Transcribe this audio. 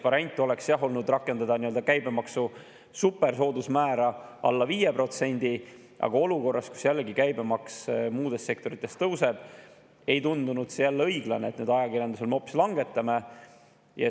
Variant oleks olnud, jah, rakendada käibemaksu supersoodusmäära alla 5%, aga olukorras, kus käibemaks muudes sektorites tõuseb, ei tundunud õiglane, et nüüd ajakirjandusel me seda hoopis langetame.